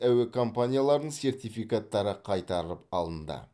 әуе компанияларының сертификаттары қайтарып алынды